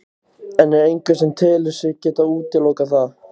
En er einhver sem telur sig geta útilokað það?